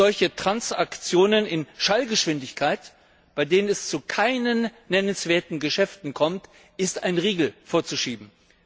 Solchen Transaktionen in Schallgeschwindigkeit, bei denen es zu keinen nennenswerten Geschäften kommt, ist ein Riegel vorzuschieben.